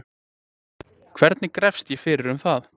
Hvernig grefst ég fyrir um það?